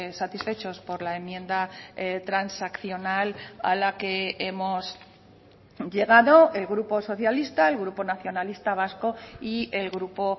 satisfechos por la enmienda transaccional a la que hemos llegado el grupo socialista el grupo nacionalista vasco y el grupo